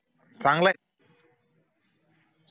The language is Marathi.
चांगलंय